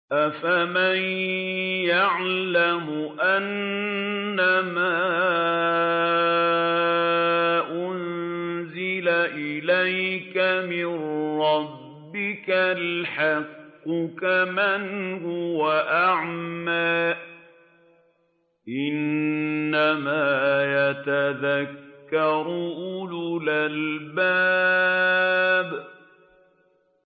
۞ أَفَمَن يَعْلَمُ أَنَّمَا أُنزِلَ إِلَيْكَ مِن رَّبِّكَ الْحَقُّ كَمَنْ هُوَ أَعْمَىٰ ۚ إِنَّمَا يَتَذَكَّرُ أُولُو الْأَلْبَابِ